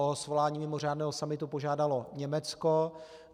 O svolání mimořádného summitu požádalo Německo.